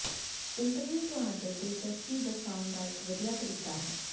interview ਤੁਹਾਡੇ ਦਿਲਚਸਪੀ ਦਰਸਾਉਣ ਦਾ ਇੱਕ ਵਧੀਆ ਤਰੀਕਾ ਹੈ